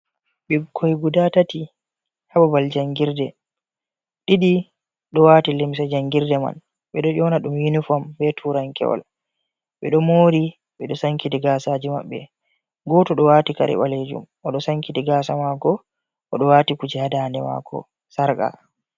Bikkoi guda tati ha babal jangirde ɗiɗi ɗo wati limse jangirde man ɓe ɗo ƴona ɗum yuniform be turankewal ɓe ɗo mori ɓe ɗo sankiti gasaji maɓɓe goto ɗo wati kare ɓalejum o ɗo sankiti gasa mako o ɗo wati kuje ha dande mako sarka.